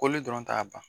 Koli dɔrɔn t'a ban